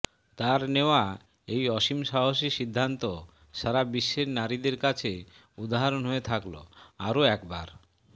তাঁর নেওয়া এই অসীম সাহসী সিদ্ধান্ত সারা বিশ্বের নারীদের কাছে উদাহরণ হয়ে থাকল আরও একবার